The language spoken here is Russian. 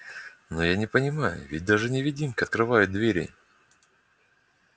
но я не понимаю ведь даже невидимка открывают двери